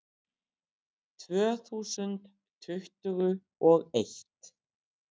Tvö þúsund tuttugu og eitt